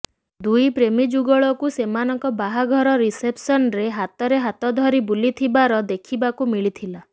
ଦୁଇ ପ୍ରେମୀଜୁଗଳକୁ ସୋନମଙ୍କ ବାହାଘର ରିସେପ୍ସନ୍ରେ ହାତରେ ହାତ ଧରି ବୁଲିଥିବାର ଦେଖିବାକୁ ମିଳିଥିଲା